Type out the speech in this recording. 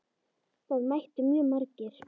Það mættu mjög margir.